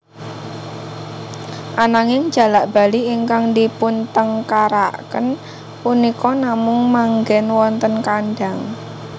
Ananging jalak bali ingkang dipuntengkaraken punika namung manggèn wonten kandhang